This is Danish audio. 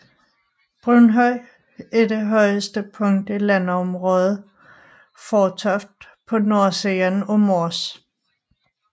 Brunhøj er det højeste punkt i landområdet Fårtoft på nordsiden af Mors